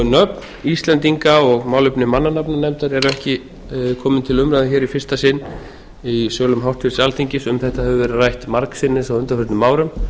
nöfn íslendinga og málefni mannanafnanefndar eru ekki komin til umræðu hér í fyrsta sinn í sölum háttvirtur alþingis um þetta hefur verið rætt margsinnis á undanförnum árum